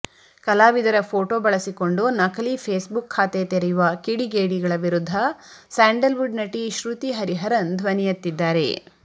ಕಲಾವಿದರ ಫೋಟೋ ಬಳಸಿಕೊಂಡು ನಕಲಿ ಫೇಸ್ಬುಕ್ ಖಾತೆ ತೆರೆಯುವ ಕಿಡಿಗೇಡಿಗಳ ವಿರುದ್ಧ ಸ್ಯಾಂಡಲ್ವುಡ್ ನಟಿ ಶ್ರುತಿ ಹರಿಹರನ್ ಧ್ವನಿಯೆತ್ತಿದ್ದಾರೆ